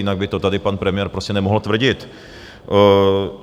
Jinak by to tady pan premiér prostě nemohl tvrdit.